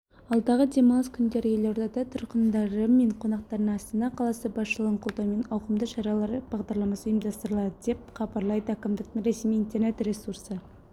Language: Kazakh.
алдағы демалыс күндері елорда тұрғындары мен қонақтарына астана қаласы басшылығының қолдауымен ауқымды шаралар бағдарламасы ұйымдастырылады деп хабарлайды әкімдіктің ресми интернет-ресурсы